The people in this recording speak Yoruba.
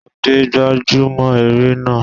Túndé gbájú mọ́ eré náà.